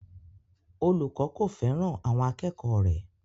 Olùkọ́ kò fẹ́ràn àwọn akẹ́kọ̀ọ́ rẹ̀